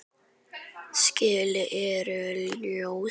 Skilin eru óljós.